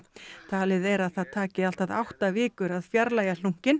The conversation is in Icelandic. talið er að það taki allt að átta vikur að fjarlægja